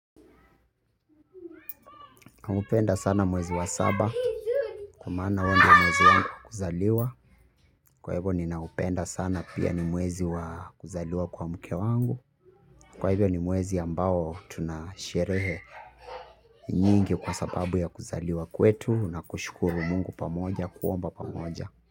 Hupenda sana mwezi wa saba kwa maana huo ndio mwezi wangu wa kuzaliwa. Kwa hivyo ninaupenda sana pia ni mwezi wa kuzaliwa kwa mke wangu. Kwa hivyo ni mwezi ambao tunasherehe nyingi kwa sababu ya kuzaliwa kwetu. Na kushukuru mungu pamoja kuomba pamoja.